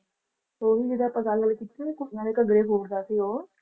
ਉਹੀ ਜਿਹੜੀ ਆਪਾਂ ਗੱਲ ਕੀਤੀ ਨਾ ਕੁੜੀਆਂ ਦੇ ਘੱਗਰੇ ਫੋੜਦਾ ਸੀ ਉਹ